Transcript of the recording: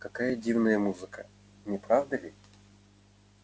какая дивная музыка не правда ли